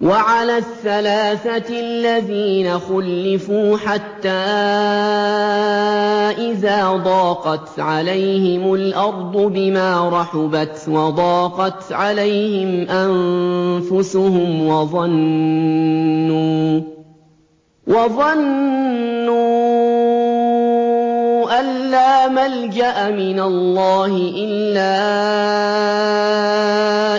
وَعَلَى الثَّلَاثَةِ الَّذِينَ خُلِّفُوا حَتَّىٰ إِذَا ضَاقَتْ عَلَيْهِمُ الْأَرْضُ بِمَا رَحُبَتْ وَضَاقَتْ عَلَيْهِمْ أَنفُسُهُمْ وَظَنُّوا أَن لَّا مَلْجَأَ مِنَ اللَّهِ إِلَّا